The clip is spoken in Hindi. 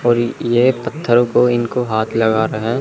और ये ये एक पत्थर को इनको हाथ लगा रहा है।